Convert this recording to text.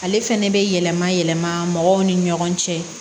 Ale fɛnɛ bɛ yɛlɛma yɛlɛma mɔgɔw ni ɲɔgɔn cɛ